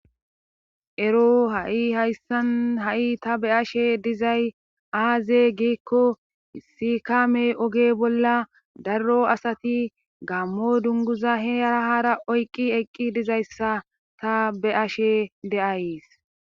ero ha7i hayssan ha7i ta be ashe dizay aaze giikko sikame oge bolla darro asati gammo dunguza heyara haara oyqqi eqqi dizayssa ta be ashe de'ays